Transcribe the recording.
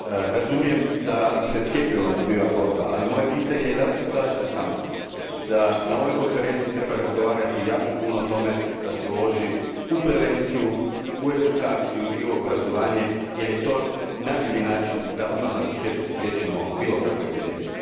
Razumijem da se cijepivom dobiva borba, ali moje pitanje je slažete li se sa mnom da na ovoj konferenciji treba razgovarati jako puno o tome da se uloži u prevenciju, edukaciju i obrazovanje jer je to najbolji način da odmah na početku spriječimo bilo kakvu epidemiju?